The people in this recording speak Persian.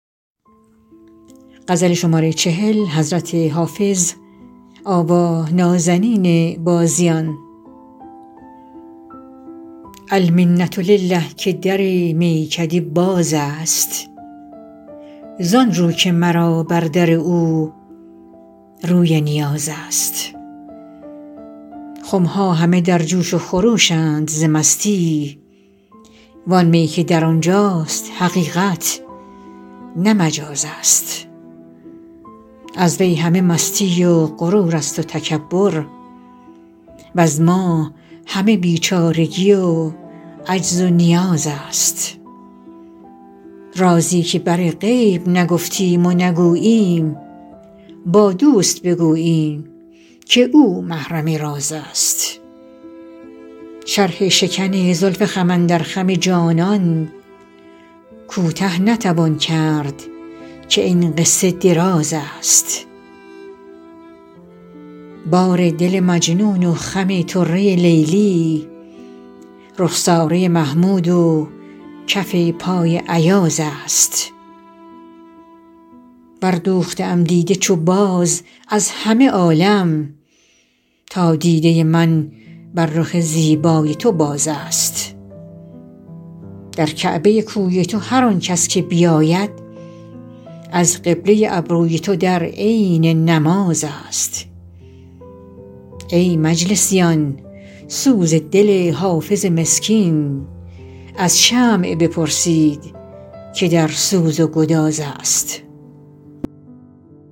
المنة لله که در میکده باز است زان رو که مرا بر در او روی نیاز است خم ها همه در جوش و خروش اند ز مستی وان می که در آن جاست حقیقت نه مجاز است از وی همه مستی و غرور است و تکبر وز ما همه بیچارگی و عجز و نیاز است رازی که بر غیر نگفتیم و نگوییم با دوست بگوییم که او محرم راز است شرح شکن زلف خم اندر خم جانان کوته نتوان کرد که این قصه دراز است بار دل مجنون و خم طره لیلی رخساره محمود و کف پای ایاز است بردوخته ام دیده چو باز از همه عالم تا دیده من بر رخ زیبای تو باز است در کعبه کوی تو هر آن کس که بیاید از قبله ابروی تو در عین نماز است ای مجلسیان سوز دل حافظ مسکین از شمع بپرسید که در سوز و گداز است